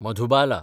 Madhubala